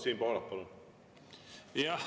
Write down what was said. Siim Pohlak, palun!